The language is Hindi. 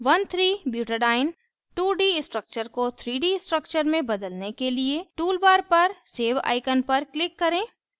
1 3butadiene 2 2d structure को 3 2d structure में बदलने के लिए tool bar पर सेव icon पर click करें